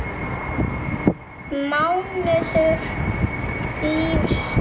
mánuður lífs míns.